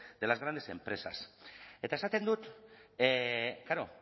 empresas eta esaten dut klaro